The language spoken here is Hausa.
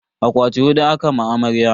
Akwati hudu aka ma amarya.